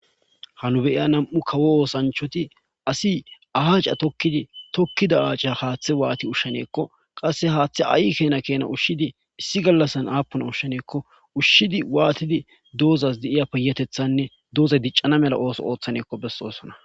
hanu beyiya nam7u kawo oosanchoti asi ahaacca tokkidi tokkida aaca haaththe waati ushshaneekko qasse haaththe ayi keena keena ushshidi issi gallassan aapuna ushsheneekko ushshidi waatidi doozas di7iya piyatethanne doozay diccana mela ooso ooththaneekko bessosona